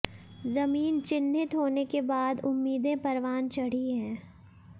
जमीन चिन्हित होने के बाद उम्मीदें परवान चढ़ी है